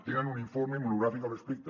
tenen un informe monogràfic al respecte